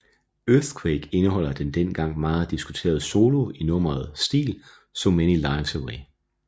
Earthquake indeholder den dengang meget diskuterede solo i nummeret Still so many lives away